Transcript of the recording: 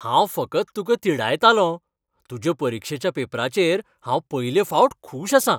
हांव फकत तुका तिडायतालों. तुज्या परीक्षेच्या पेपराचेर हांव पयले फावट खूश आसां.